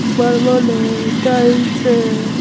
बरबल है टाइम से ।